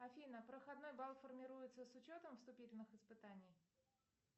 афина проходной балл формируется с учетом вступительных испытаний